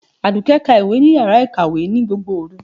Àdùkẹ́ ka ìwé ní yàrá ìkàwé ní gbogbo òru.